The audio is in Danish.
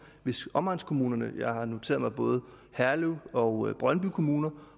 hvis omegnskommunerne og jeg har noteret mig at både herlev og brøndby kommuner